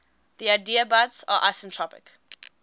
the adiabats are isentropic